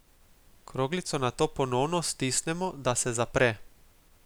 Kroglico nato ponovno stisnemo, da se zapre.